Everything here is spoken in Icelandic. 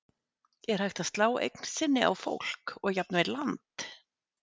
Er hægt að slá eign sinni á fólk og jafnvel land?